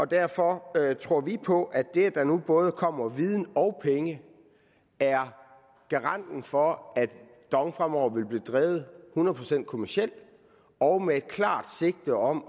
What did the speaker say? derfor tror vi på at det at der nu både kommer viden og penge er garanten for at dong fremover vil blive drevet hundrede procent kommercielt og med et klart sigte om